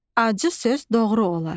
Acı söz doğru olar.